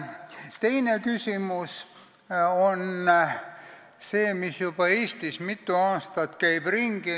Teine küsimus käib Eestis juba mitu aastat ringi.